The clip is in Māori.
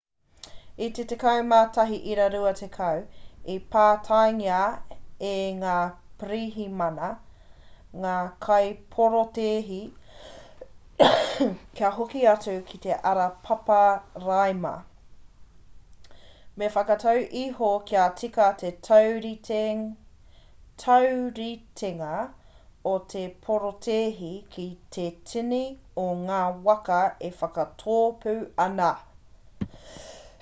i te 11.20 i pātaingia e ngā pirihimana ngā kaiporotēhi kia hoki atu ki te ara paparaima me te whakatau iho kia tika te tauritenga o te porotēhi ki te tini o ngā waka e whakatōpu ana